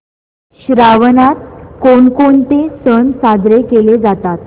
श्रावणात कोणकोणते सण साजरे केले जातात